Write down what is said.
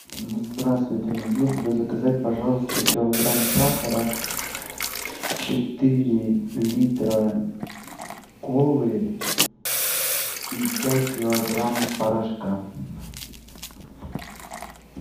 здравствуйте могли бы вы заказать пожалуйста килограмм сахара четыре литра колы и пять килограмм порошка